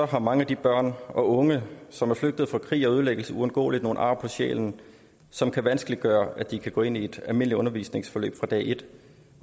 har mange af de børn og unge som er flygtet fra krig og ødelæggelse uundgåeligt nogle ar på sjælen som kan vanskeliggøre at de kan gå ind i et almindeligt undervisningsforløb fra dag et